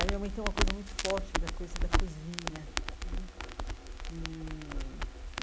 A minha mãe tem uma coisa muito forte da coisa da cozinha né e.